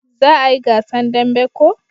Za a yi gasan dambe ko?